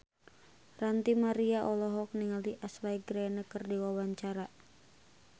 Ranty Maria olohok ningali Ashley Greene keur diwawancara